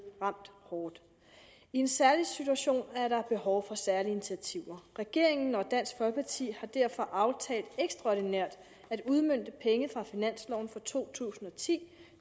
ramt hårdt i en særlig situation er der behov for særlige initiativer regeringen og dansk folkeparti har derfor aftalt ekstraordinært at udmønte penge fra finansloven for to tusind og ti